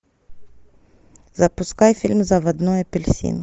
запускай фильм заводной апельсин